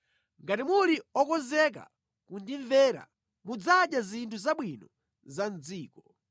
Ngati muli okonzeka kundimvera mudzadya zinthu zabwino za mʼdziko;